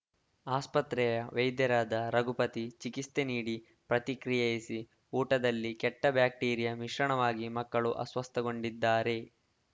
ಆಸ್ಪತ್ರೆಯ ವೈದ್ಯರಾದ ರಘುಪತಿ ಚಿಕಿತ್ಸೆ ನೀಡಿ ಪ್ರತಿಕ್ರಿಯಿಸಿ ಊಟದಲ್ಲಿ ಕೆಟ್ಟಬ್ಯಾಕ್ಟೀರಿಯ ಮಿಶ್ರಣವಾಗಿ ಮಕ್ಕಳು ಅಸ್ವಸ್ಥಗೊಂಡಿದ್ದಾರೆ